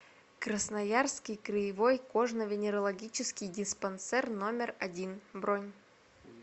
красноярский краевой кожно венерологический диспансер номер один бронь